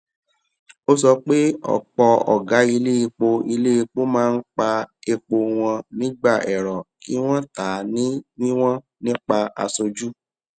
ó sọ pé ọpọ ọgá iléepo iléepo máa ń pa epo wọn nígbà èrò kí wọn tà ní wíwọn nípa aṣojú